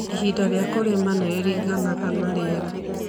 Ihinda rĩa kũrĩma nĩ rĩringanaga na rĩera.